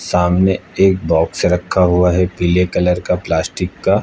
सामने एक बॉक्स रखा हुआ है पीले कलर का प्लास्टिक का।